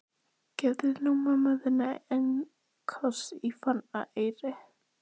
Gefðu nú móður þinni einn koss í farareyri!